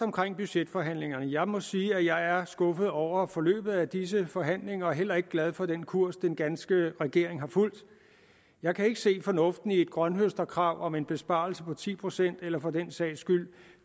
budgetforhandlingerne jeg må sige at jeg er skuffet over forløbet af disse forhandlinger og heller ikke glad for den kurs den danske regering har fulgt jeg kan ikke se fornuften i et grønthøsterkrav om en besparelse på ti procent eller for den sags skyld